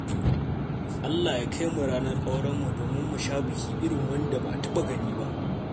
Allah ya kai mu ranar aurenmu domin mu sha biki irin wanda ba a taɓa gani ba.